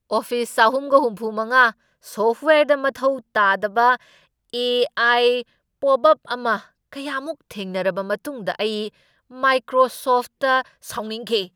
Office ꯆꯍꯨꯝꯒ ꯍꯨꯝꯐꯨꯃꯉꯥ ꯁꯣꯐꯠꯋꯦꯌꯔꯗ ꯃꯊꯧ ꯇꯥꯗꯕ ꯑꯦ. ꯑꯥꯏ. ꯄꯣꯞꯑꯞ ꯑꯃ ꯀꯌꯥꯃꯨꯛ ꯊꯦꯡꯅꯔꯕ ꯃꯇꯨꯡꯗ ꯑꯩ ꯃꯥꯏꯀ꯭ꯔꯣꯁꯣꯐꯠꯗ ꯁꯥꯎꯅꯤꯡꯈꯤ ꯫